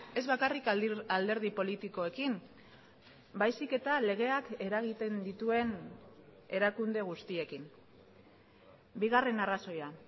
ez bakarrik alderdi politikoekin baizik eta legeak eragiten dituen erakunde guztiekin bigarren arrazoia